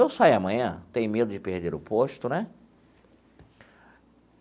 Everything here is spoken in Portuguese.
Eu saio amanhã, tenho medo de perder o posto né.